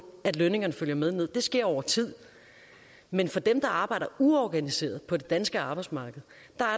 at lønningerne følger med ned for det sker over tid men for dem der arbejder uorganiseret på det danske arbejdsmarked